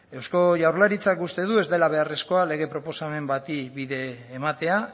euzko jaurlaritzak uste du ez dela beharrezkoa lege proposamen bati bide ematea